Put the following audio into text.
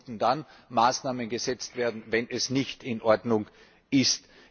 Es sollten dann Maßnahmen gesetzt werden, wenn es nicht in Ordnung ist.